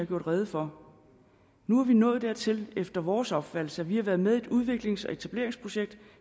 gjort rede for nu er vi nået dertil efter vores opfattelse at vi har været med i et udviklings og etableringsprojekt